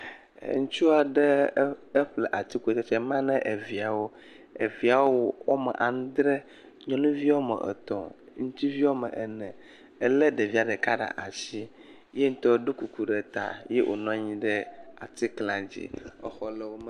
Ŋutsu aɖe eƒle atikutsetse ma ne eviawo, eviawo woame andre, nyɔnuvi woame etɔ̃, ŋutsuvi woame ene elé ɖevia ɖeka ɖe asi ye ŋutɔ ɖɔ kuku ɖe ta eye wònɔ anyi ɖe atikla dzi, exɔ le wo megbe.